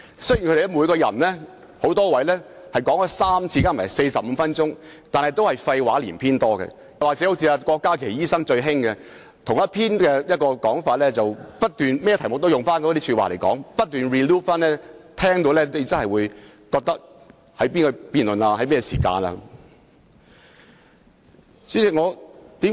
雖然那邊有多位議員曾先後3次發言共45分鐘，但大多數是廢話連篇，或是好像郭家麒議員那樣，無論辯論甚麼議題都只是不斷重複同一說法，令人聽罷也分不清在討論甚麼議題。